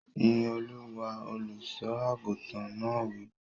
Yín Olúwa! Olùsọ àgùntàn náà wí.